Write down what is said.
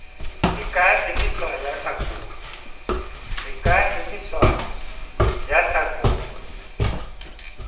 e ka emiswa ya hlakolwa